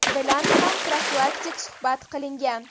bilan ham profilaktik suhbat qilingan.